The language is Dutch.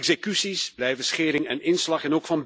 Executies blijven schering en inslag.